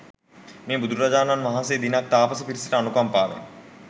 මේ බුදුරජාණන් වහන්සේ දිනක් තාපස පිරිසට අනුකම්පාවෙන්